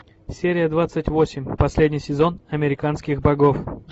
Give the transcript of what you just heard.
серия двадцать восемь последний сезон американских богов